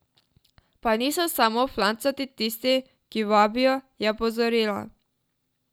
Pa niso samo flancati tisti, ki vabijo, je opozorila.